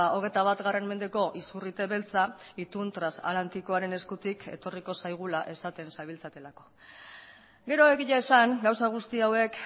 hogeita batmendeko izurrite beltza itun transatlantikoaren eskutik etorriko zaigula esaten zabiltzatelako gero egia esan gauza guzti hauek